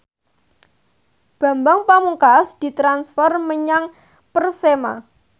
Bambang Pamungkas ditransfer menyang Persema